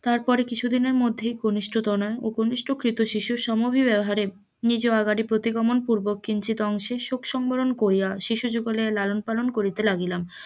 তারপরে কিছু দিনের মধ্যে কনিষ্ঠ তনয় শিশু সমবিব্যহারে নিজ বাড়ি প্রতি গমন পুর্বক কিঞ্চিত অংশে শোক সম্বরন করিয়া শিশু যুগলের লালন পালন করিতে লাগিলাম,